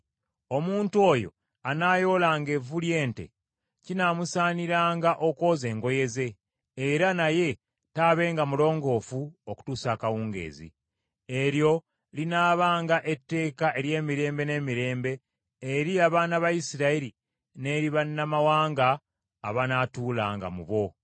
Omuntu oyo anaayoolanga evvu ly’ente, kinaamusaaniranga okwoza engoye ze, era naye taabenga mulongoofu okutuusa akawungeezi. Eryo linaabanga etteeka ery’emirembe n’emirembe eri abaana ba Isirayiri n’eri bannamawanga abanaatuulanga mu bo.